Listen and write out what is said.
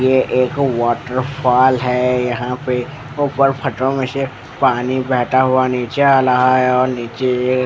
यह एक वॉटरफॉल है यहां पे ऊपर पत्थरों में से पानी बहता हुआ नीचे आ रहा है और नीचे ये--